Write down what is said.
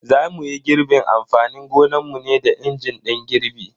Za muyi girbin amfanin gonanmu ne da injin din girbi.